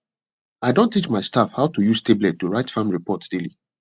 i don teach my staff how to use tablet to write farm report daily